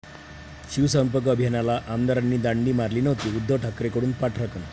शिवसंपर्क अभियानाला आमदारांनी दांडी मारली नव्हती, उद्धव ठाकरेंकडून पाठराखण